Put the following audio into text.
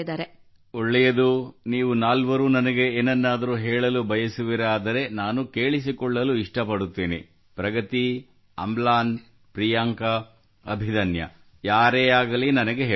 ಒಳ್ಳೆಯದು ನೀವು ನಾಲ್ವರೂ ನನಗೆ ಏನನ್ನಾದರೂ ಹೇಳಲು ಬಯಸುವಿರಾದರೆ ನಾನು ಕೇಳಿಸಿಕೊಳ್ಳಲು ಇಷ್ಟಪಡುತ್ತೇನೆ ಪ್ರಗತಿ ಅಮ್ಲಾನ್ ಪ್ರಿಯಾಂಕಾ ಅಭಿದನ್ಯಾ ಯಾರೇ ಆಗಲಿ ನನಗೆ ಹೇಳಬಹುದು